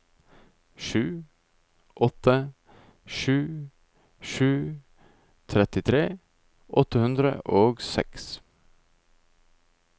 sju åtte sju sju trettitre åtte hundre og seks